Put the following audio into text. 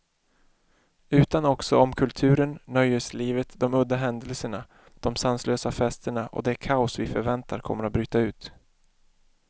Utan också om kulturen, nöjeslivet, de udda händelserna, de sanslösa festerna och det kaos vi förväntar kommer att bryta ut.